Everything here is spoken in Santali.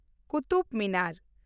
ᱠᱩᱛᱩᱵᱽ ᱢᱤᱱᱟᱨ